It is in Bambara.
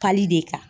Kali de kan